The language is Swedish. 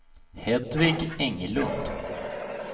Hedvig Englund